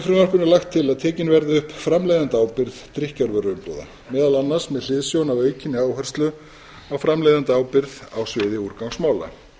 frumvarpinu lagt til að tekin verði upp framleiðendaábyrgð drykkjarvöruumbúða meðal annars með hliðsjón af aukinni áherslu á framleiðendaábyrgð á sviði úrgangsmála